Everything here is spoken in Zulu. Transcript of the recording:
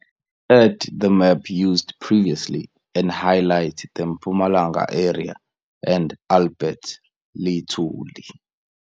Add the map used previously and highlight the Mpumalanga area and Albert Lithuli.